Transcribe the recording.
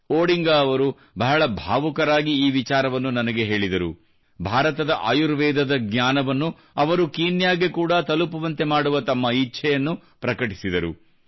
Odinga ಅವರು ಬಹಳ ಭಾವುಕರಾಗಿ ಈ ವಿಚಾರವನ್ನು ನನಗೆ ಹೇಳಿದರು ಭಾರತದ ಆಯುರ್ವೇದದ ಜ್ಞಾನವನ್ನು ಅವರು ಕೀನ್ಯಾಗೆ ಕೂಡಾ ತಲುಪುವಂತೆ ಮಾಡುವ ತಮ್ಮ ಇಚ್ಛೆಯನ್ನು ಪ್ರಕಟಿಸಿದರು